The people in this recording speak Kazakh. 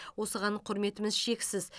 осыған құрметіміз шексіз